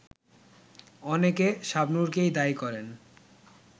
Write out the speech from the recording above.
অনেকে শাবনূরকেই দায়ী করেন